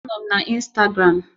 Anọ m na Instagram